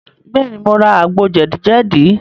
Bẹ́ẹ̀, mo ra àgbo jẹ̀díjẹ̀dí.